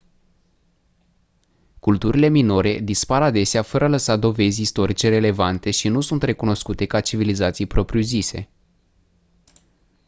culturile minore dispar adesea fără a lăsa dovezi istorice relevante și nu sunt recunoscute ca civilizații propriu-zise